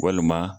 Walima